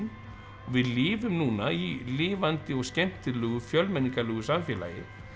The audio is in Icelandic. við lifum núna í lifandi og skemmtilegu fjölmenningarlegu samfélagi